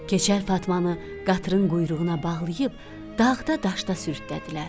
Keçəl Fatmanı qatırın quyruğuna bağlayıb dağda-daşda sürütlədilər.